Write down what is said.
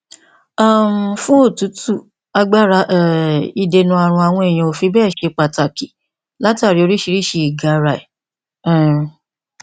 um fún òtútù agbára um ìdènà ààrùn àwọn èèyàn ò fi bẹẹ ṣe pàtàkì látàrí oríṣiríṣi ìgara rẹ um